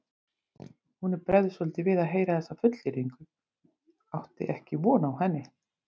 Honum bregður svolítið við að heyra þessa fullyrðingu, átti ekki von á henni.